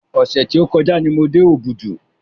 Ọ̀sẹ̀ tí ó kọjá ni mo dé Òbùdù.